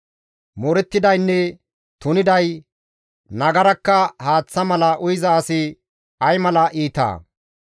Moorettidaynne tuniday nagarakka haaththa mala uyiza asi ay mala iitaa?